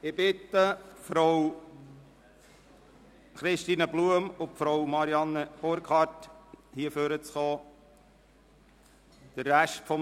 Ich bitte Christine Blum und Marianne Burkhard, nach vorne zu kommen.